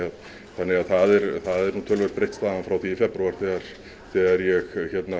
þannig að það er nú töluvert breytt staðan frá því í febrúar þegar þegar ég